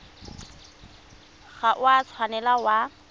ga o a tshwanela wa